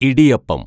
idiyappam